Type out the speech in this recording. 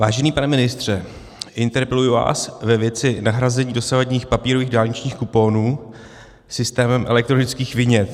Vážený pane ministře, interpeluji vás ve věci nahrazení dosavadních papírových dálničních kuponů systémem elektronických vinět.